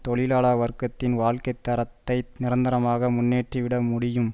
தொழிலாள வர்க்கத்தின் வாழ்க்கை தரத்தை நிரந்தரமாக முன்னேற்றிவிட முடியும்